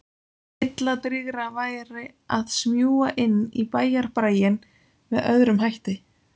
Heilladrýgra væri að smjúga inn í bæjarbraginn með öðrum hætti.